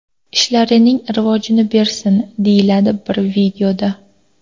Ishlarining rivojini bersin” deyiladi bir videoda.